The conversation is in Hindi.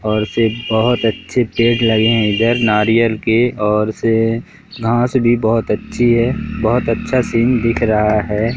और से बहुत अच्छे पेड़ लगे हैं इधर नारियल के और से घास भी बहुत अच्छी है बहुत अच्छा सीन दिख रहा है।